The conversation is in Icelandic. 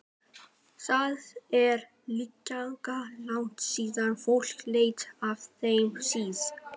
Það er líklega langt síðan fólk lét af þeim sið.